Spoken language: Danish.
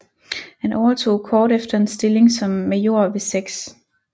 Han overtog kort efter en stilling som major ved 6